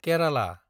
Kerala